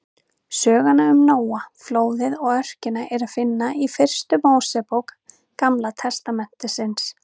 Söguna um Nóa, flóðið og örkina er að finna í fyrstu Mósebók Gamla testamentisins.